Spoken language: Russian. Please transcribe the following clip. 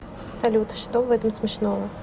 салют что в этом смешного